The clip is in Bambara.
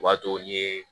O b'a to n'i ye